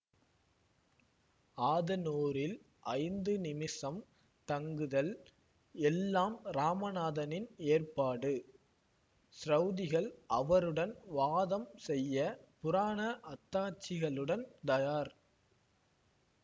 ஆதனூரில் ஐந்து நிமிஷம் தங்குதல் எல்லாம் ராமநாதனின் ஏற்பாடு ச்ரௌதிகள் அவருடன் வாதம் செய்ய புராண அத்தாட்சிகளுடன் தயார்